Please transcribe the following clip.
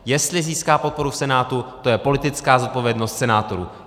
Jestli získá podporu v Senátu, to je politická zodpovědnost senátorů.